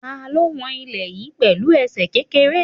Ta ló wọn ilẹ̀ yí pẹ̀lú ẹsẹ̀ kékeré?